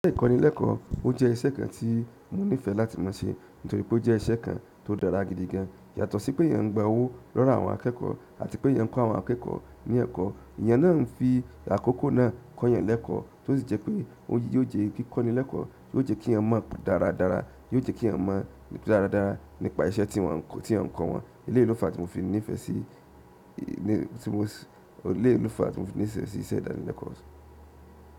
Iṣẹ́ ìkọ́nilẹ́kọ̀ọ́ ó jẹ́ iṣẹ́ kan tí mo nífẹ̀ẹ́ láti máa ṣe nítorí pé ó jẹ́ iṣẹ́ kan tó dára gidigan. Yàtọ̀ sí pé eeyan ń gba owó lọ́wo àwọn akẹ́kọ̀ọ́ àti pé eeyan ń kọ́ àwọn akẹ́kọ̀ọ́ ní ẹ̀kọ́. Ìyẹn náà ń fi àkókò náà kọ́ yan lẹ́kọ̀ọ́, tó sì jẹ́ pé òun yìí yóò jẹ́ kíkọ́nilẹ́kọ̀ọ́, yóò jẹ́ kí eeyan mọ̀ dáradára, yóò jẹ́ kí eeyan mọ̀ dáradára nípa iṣẹ́ tí wọn, tí eeyan ń kọ wọn. Eléyi lofa tí mo fi nífẹ̀ẹ́ sí, ní, tí mo, eléyi lofa tí mo fi nífẹ̀ẹ́ sí iṣẹ́ ìdánilẹ́kọ̀ọ́.